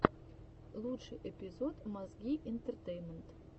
лучший эпизод мозги интертеймент